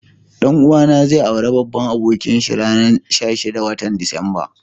Dan uwa na zai aure babban abokin shi ranan sitin,a watan Disamba.